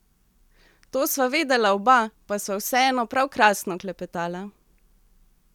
To sva vedela oba, pa sva vseeno prav krasno klepetala.